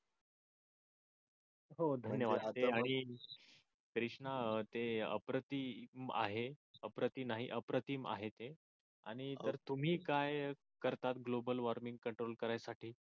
हो धन्यवाद कृष्णा ते अप्रतिम आहे अप्रति नाही अप्रतिम आहे ते. आणि तर तुम्ही काय करता गोबल वॉर्मिंग कंट्रोल करण्यासाठी?